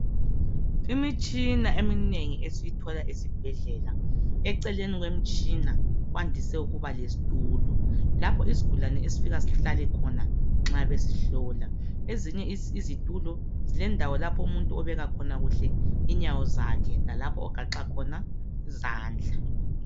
Imitshina eminengi esiyithola esibhedlela ,eceleni kwemitshina kwandise ukuba lesithulo .Lapho isigulane esifika sihlale khona nxa besihlola. Ezinye izithulo zilendawo lapho umuntu obeka khona kuhle inyawo zakhe lalapho ogaxa khona izandla.